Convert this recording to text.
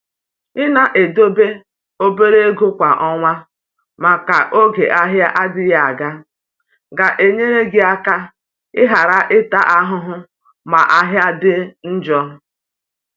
i na edebe obere ego kwa ọnwa maka oge ahịa adịghị aga. ga-enyere gị aka i ghara ịta ahụhụ ma ahịa dị njọ.